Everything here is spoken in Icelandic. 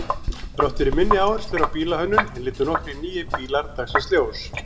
Þrátt fyrir minni áherslu á bílahönnun litu nokkrir nýir bílar dagsins ljós.